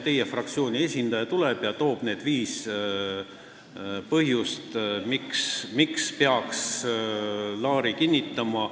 Teie fraktsiooni esindaja saab tulla ja tuua viis põhjust, miks peaks Laari kinnitama.